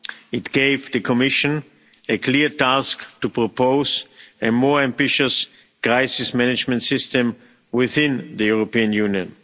It gave the Commission a clear task to propose a more ambitious Crisis Management System within the European Union.